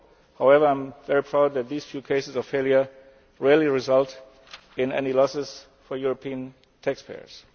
control. However, I am very proud that these few cases of failure rarely result in any losses for European taxpayers.